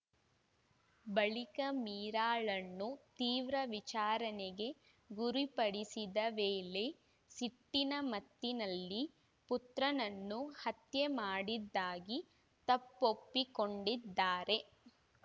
ಬಳಿಕ ಮೀರಾಳನ್ನು ತೀವ್ರ ವಿಚಾರಣೆಗೆ ಗುರಿಪಡಿಸಿದ ವೇಳೆ ಸಿಟ್ಟಿನ ಮತ್ತಿನಲ್ಲಿ ಪುತ್ರನನ್ನು ಹತ್ಯೆ ಮಾಡಿದ್ದಾಗಿ ತಪ್ಪೊಪ್ಪಿಕೊಂಡಿದ್ದಾರೆ